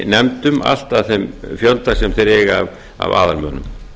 í nefndum allt að þeim fjölda sem þeir eiga af aðalmönnum